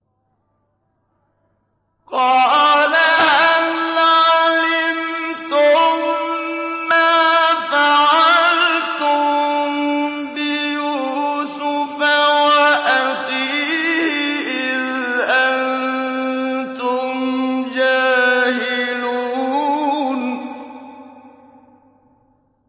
قَالَ هَلْ عَلِمْتُم مَّا فَعَلْتُم بِيُوسُفَ وَأَخِيهِ إِذْ أَنتُمْ جَاهِلُونَ